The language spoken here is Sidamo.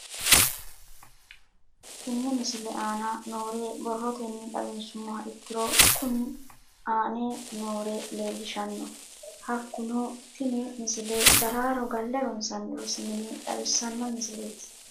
Tenne misile aana noore borrotenni xawisummoha ikirro kunni aane noore leelishano. Hakunno tinni misile daraaro galle ronsanni rosi mine xawisanno misileeti.